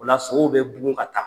O la sow bɛ bugun ka taa.